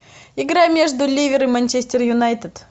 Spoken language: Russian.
игра между ливер и манчестер юнайтед